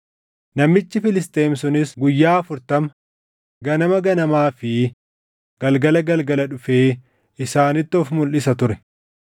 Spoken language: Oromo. Namichi Filisxeem sunis guyyaa afurtama ganama ganamaa fi galgala galgala dhufee isaanitti of mulʼisa ture.